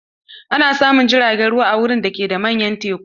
Ana samun jirgin ruwan a wuraren da ke da manyan teku.